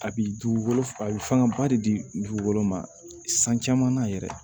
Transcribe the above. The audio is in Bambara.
A bi dugukolo a bi fangaba de di dugukolo ma san caman na yɛrɛ